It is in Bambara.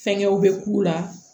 Fɛnkɛw bɛ k'u la